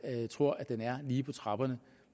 tror at den er lige på trapperne